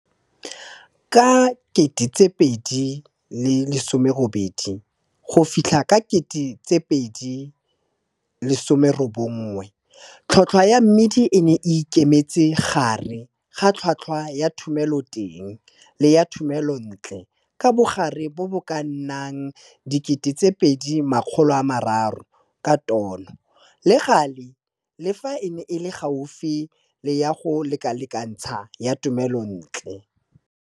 Ka 2018 go fitlha ka 2019, tlhotlhwa ya mmidi e ne e ikemetse gare ga tlhotlhwa ya thomeloteng le ya thomelontle ka bogare bo bo ka nnang R2 300 ka tono, le gale le fa e ne e le gaufi le ya go lekalekantsha ya thomelontle.